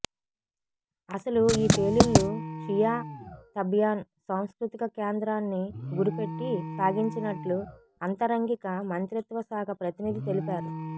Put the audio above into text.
అసలు ఈ పేలుళ్లు షియా తబయాన్ సాంస్కృతిక కేంద్రాన్ని గురిపెట్టి సాగించినట్లు ఆంత రంగిక మంత్రిత్వ శాఖ ప్రతినిధి తెలిపారు